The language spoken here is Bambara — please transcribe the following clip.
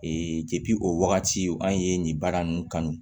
o wagati an ye nin baara ninnu kanu